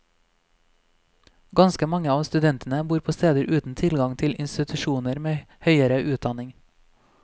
Ganske mange av studentene bor på steder uten tilgang til institusjoner med høyere utdanning.